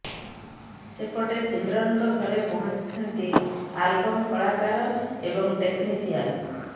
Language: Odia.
ସେପଟେ ସିମରନଙ୍କ ଘରେ ପହଞ୍ଚିଛନ୍ତି ଆଲବମ କଳାକାର ଏବଂ ଟେକନିସିଆନ